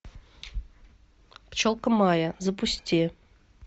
пчелка майя запусти